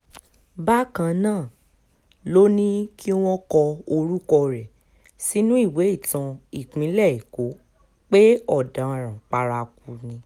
Bakan naa loni kiwọn kọ orukọ rẹ sinu iwe itan ipinlẹ eko pe ọdaran paraku ni